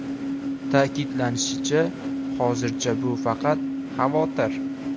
Ta’kidlanishicha, hozircha bu faqat xavotir.